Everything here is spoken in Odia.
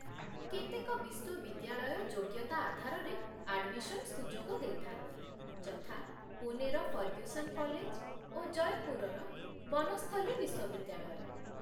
କେତେକ ବିଶ୍ୱବିଦ୍ୟାଳୟ ଯୋଗ୍ୟତା ଆଧାରରେ ଆଡ୍‌ମିସନ୍ ସୁଯୋଗ ଦେଇଥାନ୍ତି, ଯଥା, ପୁନେର ଫର୍ଗ୍ୟୁସନ୍ କଲେଜ୍ ଓ ଜୟପୁର୍ର ବନସ୍ଥଲୀ ବିଶ୍ୱବିଦ୍ୟାଳୟ